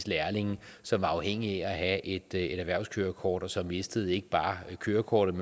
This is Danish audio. lærlinge som var afhængige af at have et erhvervskørekort og som mistede ikke bare kørekortet